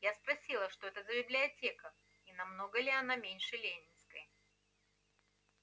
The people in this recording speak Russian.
я спросила что это за библиотека и намного ли она меньше ленинской